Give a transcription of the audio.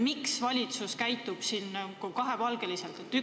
Miks valitsus käitub kahepalgeliselt?